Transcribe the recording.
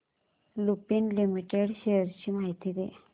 Lupin limited shares ची माहिती दे